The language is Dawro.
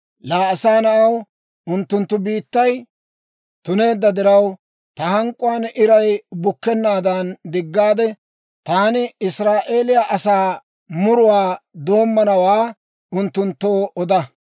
«Laa asaa na'aw, unttunttu biittay tuneedda diraw, ta hank'k'uwaan iray bukkennaadan diggaade, taani Israa'eeliyaa asaa muruwaa doommowaa unttunttoo oda.